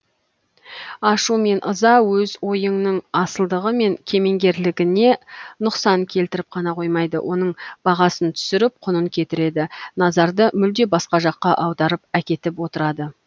ашу мен ыза өз ойыңның асылдығы мен кемеңгерлігіне нұқсан келтіріп қана қоймайды оның бағасын түсіріп құнын кетіреді назарды мүлде басқа жаққа аударып әкетіп отырады